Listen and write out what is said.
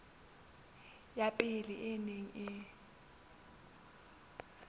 ya pele e neng e